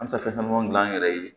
An bɛ se ka fɛn caman gilan an yɛrɛ ye